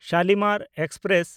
Shalimar express